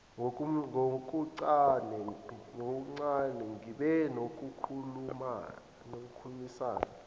ngokuncane ngibe nokukhulumisana